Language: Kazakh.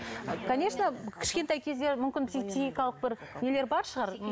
конечно кішкентай кезде мүмкін психикалық бір нелер бар шығар